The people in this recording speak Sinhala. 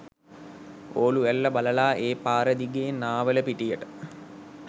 ඕලු ඇල්ල බලලා ඒ පාරදිගේ නාවලපිටියට